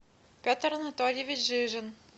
петр анатольевич жижин